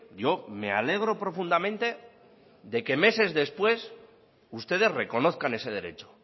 yo me alegro profundamente de que meses después ustedes reconozcan ese derecho